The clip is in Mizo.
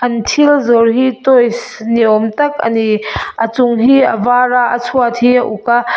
an thil zawrh hi toys ni awm tak a ni a chung hi a var a a chhuat hi a uk aa--